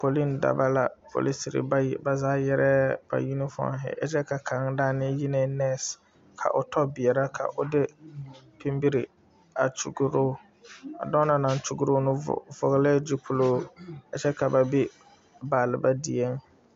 Poliŋ dobɔ la polisere bayi ba zaa yɛrɛɛ ba uunifɔɛnhi a kyɛ ka kaŋa daanee yi neŋ nɛɛse ka o tɔ beɛɛrɛ ka o de pinbiri a kyɔgroo a dɔɔ na naŋ kyɔgroo na vɔglɛɛ gyupiluu a kyɛ ka ba be baalba dieŋ.